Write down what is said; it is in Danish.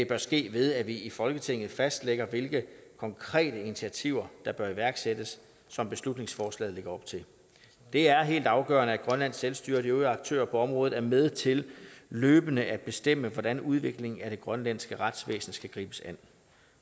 bør ske ved at vi i folketinget fastlægger hvilke konkrete initiativer der bør iværksættes som beslutningsforslaget lægger op til det er helt afgørende at grønlands selvstyre og de øvrige aktører på området er med til løbende at bestemme hvordan udviklingen af det grønlandske retsvæsen skal gribes an